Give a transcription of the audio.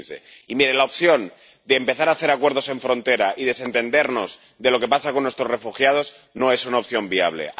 2015. Y la opción de empezar a hacer acuerdos en frontera y desentendernos de lo que pasa con nuestros refugiados no es una opción viable.